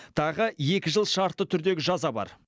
тағы екі жыл шартты түрдегі жаза бар